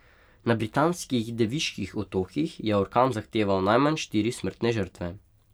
Na Britanskih Deviških otokih je orkan zahteval najmanj štiri smrtne žrtve.